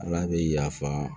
Ala bɛ yafa